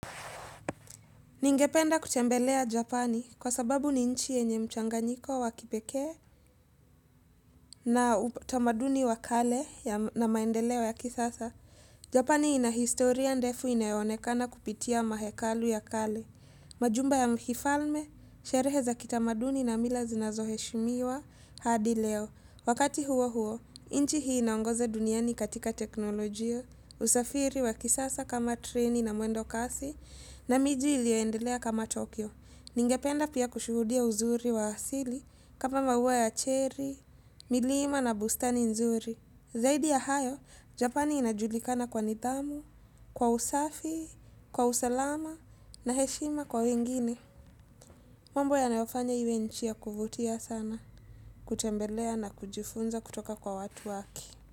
Ningependa kutembelea Japani kwa sababu ni nchi yenye mchanganyiko wa kipekee na utamaduni wa kale na maendeleo ya kisasa. Japani ina historia ndefu inayo onekana kupitia mahekalu ya kale. Majumba ya mhifalme, sherehe za kitamaduni na mila zinazoheshimiwa hadi leo. Wakati huo huo, nchi hii inaongoza duniani katika teknolojia, usafiri wa kisasa kama treni na mwendo kasi na miji iliyoendelea kama Tokyo. Ningependa pia kushuhudia uzuri wa asili, kama maua ya cherry, milima na bustani nzuri. Zaidi ya hayo, Japani inajulikana kwa nidhamu, kwa usafi, kwa usalama na heshima kwa wengine. Mambo yanayofanya iwe nchi ya kuvutia sana, kutembelea na kujifunza kutoka kwa watu wake.